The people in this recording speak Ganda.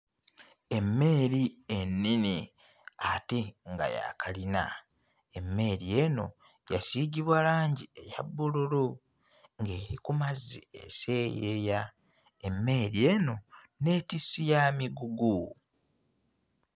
Emmeeri ennene ate nga ya kkalina, emmeri eno yasiigibwa langi eya bbululu ng'eri ku mazzi eseeyeeya, emmeri eno nneetissi ya migugu.